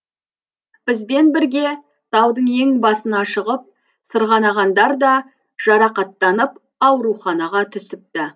бізбен бірге таудың ең басына шығып сырғанағандар да жарақаттанып ауруханаға түсіпті